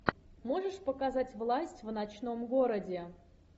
можешь показать власть в ночном городе